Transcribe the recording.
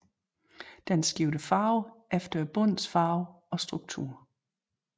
Den skifter farve efter bundens farve og struktur